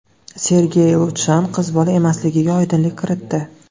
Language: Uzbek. Sergey Lushchan qiz bola emasligiga oydinlik kiritdi.